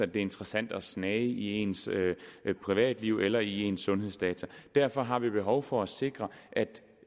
det er interessant at snage i ens privatliv eller i ens sundhedsdata derfor har vi selvfølgelig behov for at sikre